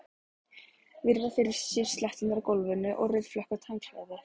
Virða fyrir sér sletturnar á gólfinu og rauðflekkótt handklæðið.